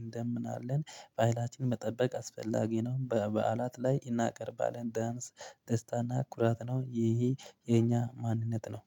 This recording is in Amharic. እንደምን አለን ባህላችንን መጠበቅ አስፈላጊ ነው። በባእላት ላይ እናቀርባለን። ዳንስ ደስታና ኩራት ነው ይሄ የኛ ማንነት ነው።